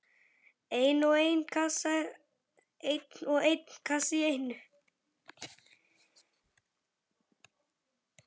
Einn og einn kassa í einu.